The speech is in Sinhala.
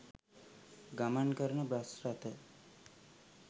ගමන් කරන බස් රථ